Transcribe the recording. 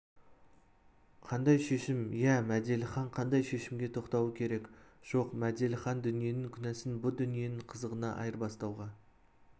қандай шешім иә мәделіхан қандай шешімге тоқтауы керек жоқ мәделіхан дүниенің күнәсін бұ дүниенің қызығына айырбастауға